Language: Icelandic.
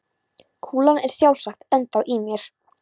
Kúlan er sjálfsagt ennþá í mér.